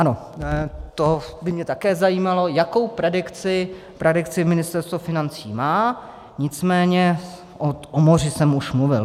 Ano, to by mě také zajímalo, jakou predikci Ministerstvo financí má, nicméně o moři jsem už mluvil.